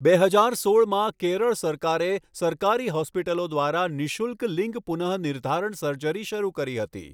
બે હજાર સોળમાં, કેરળ સરકારે સરકારી હોસ્પિટલો દ્વારા નિઃશુલ્ક લિંગ પુનઃનિર્ધારણ સર્જરી શરૂ કરી હતી.